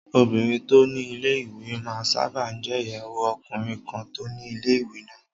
Obìnrin tó ni ilé-ìwé máa n sáábà jẹ́ ìyàwó ọkùnrin kan tó ni ilé-ìwé náà